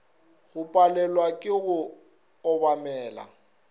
go palelwa ke go obamela